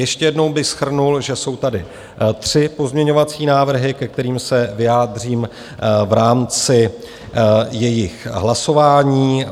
Ještě jednou bych shrnul, že jsou tady tři pozměňovací návrhy, ke kterým se vyjádřím v rámci jejich hlasování.